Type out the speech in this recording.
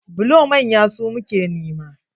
Bulo manya su muke nema.